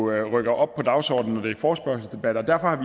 rykker op på dagsordenen er en forespørgselsdebat og derfor har